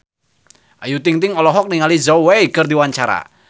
Ayu Ting-ting olohok ningali Zhao Wei keur diwawancara